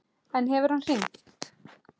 En hefur hann hringt?